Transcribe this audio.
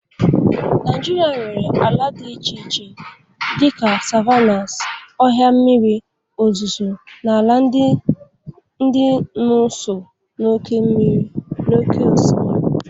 Naijiria nwere ala dị iche iche dị ka savannas, ọhịa mmiri ozuzo na ala dị n'ụsọ oké osimiri.